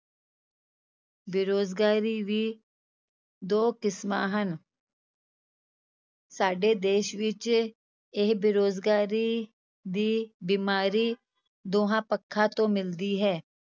ਬੇਰੁਜ਼ਗਾਰੀ ਵੀ ਦੋ ਕਿਸਮਾਂ ਹਨ ਸਾਡੇ ਦੇਸ ਵਿੱਚ ਇਹ ਬੇਰੁਜ਼ਗਾਰੀ ਦੀ ਬਿਮਾਰੀ ਦੋਹਾਂ ਪੱਖਾਂ ਤੋਂ ਮਿਲਦੀ ਹੈ